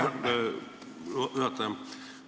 Aitäh, juhataja!